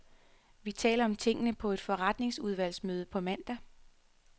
Vi taler om tingene på et forretningsudvalgsmøde på mandag.